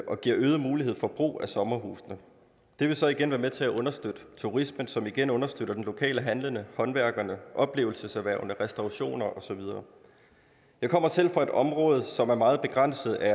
og giver øget mulighed for brug af sommerhusene det vil så igen være med til at understøtte turisme som igen understøtter de lokale handlende håndværkerne oplevelseserhvervene restaurationerne og så videre jeg kommer selv fra et område som er meget begrænset af